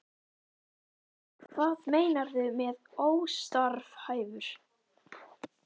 Lóa: Hvað meinarðu með óstarfhæfur?